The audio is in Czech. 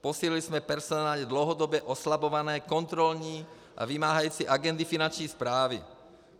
Posílili jsme personálně dlouhodobě oslabované kontrolní a vymáhající agendy Finanční správy.